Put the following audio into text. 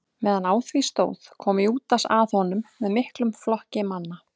meðan á því stóð kom júdas að honum með miklum flokki manna